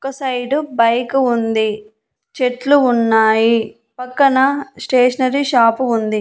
ఒక side bike ఉంది చెట్లు ఉన్నాయి పక్కన స్టేషనరీ షాపు ఉంది.